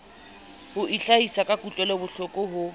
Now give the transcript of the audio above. ho itlhahisa ka kutlwelobohloko ho